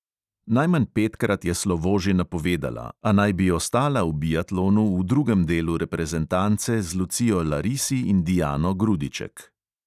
Najmanj petkrat je slovo že napovedala, a naj bi ostala v biatlonu v drugem delu reprezentance z lucijo larisi in dijano grudiček.